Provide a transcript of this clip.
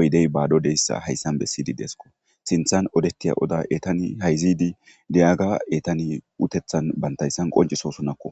oydey baadodeyssa hayssan bessidi deesko sinthan odettiya oda etani hayzidi diyaga etani utethan bantayssan qonciso sunakko